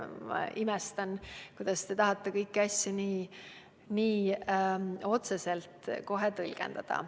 Ma imestan, kuidas te tahate kõiki asju kohe nii otseselt tõlgendada.